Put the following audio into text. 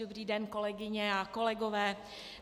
Dobrý den, kolegyně a kolegové.